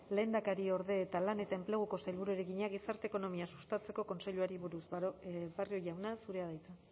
lehendakariorde eta lan eta enpleguko sailburuari egina gizarte ekonomia sustatzeko kontseiluari buruz barrio jauna zurea da hitza